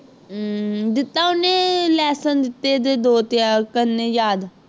ਅਮ ਦਿੱਤਾ ਉਹਨੇ lesson ਦਿੱਤੇ ਦੇ ਦੋ ਤਿਆਰ ਕਰਨੇ ਯਾਦ